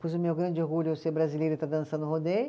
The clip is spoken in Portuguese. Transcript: Pois o meu grande orgulho é eu ser brasileira e estar dançando rodeio.